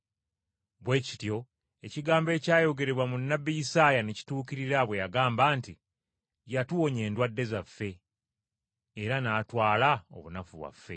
Bwe kityo ekigambo ekyayogerebwa mu nnabbi Isaaya ne kituukirira bwe yagamba nti: “Yatuwonya endwadde zaffe, era n’atwala obunafu bwaffe.”